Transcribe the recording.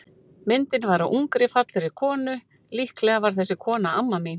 Myndin var af ungri, fallegri konu, líklega var þessi kona amma mín.